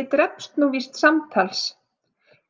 „Ég drepst nú víst samtals“